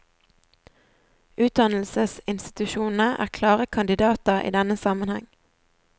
Utdannelsesinstitusjonene er klare kandidater i denne sammenheng.